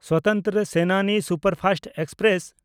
Swatantra Senani superfast express